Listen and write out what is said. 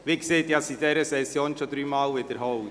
Ich habe es in dieser Session bereits dreimal gesagt: